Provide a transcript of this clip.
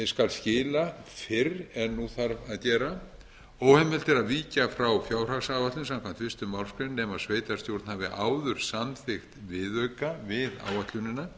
skal skila fyrr en nú þarf að gera óheimilt er að víkja frá fjárhagsáætlun samkvæmt fyrstu málsgrein nema sveitarstjórn hafi áður samþykkt viðauka búið áætlunina